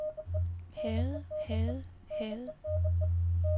havde havde havde